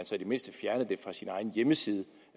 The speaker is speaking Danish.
så i det mindste fjernede det fra sin egen hjemmeside